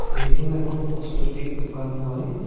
এইখন এখন ক'চমেটিক দোকান হয়।